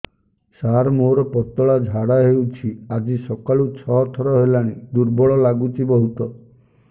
ସାର ମୋର ପତଳା ଝାଡା ହେଉଛି ଆଜି ସକାଳୁ ଛଅ ଥର ହେଲାଣି ଦୁର୍ବଳ ଲାଗୁଚି ବହୁତ